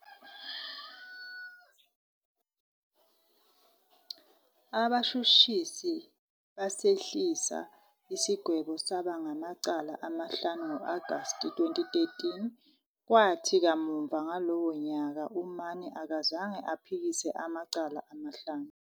Abashushisi basehlisa isigwebo saba ngamacala amahlanu ngo-August 2013, kwathi kamuva ngalowo nyaka uMann akazange aphikise amacala amahlanu.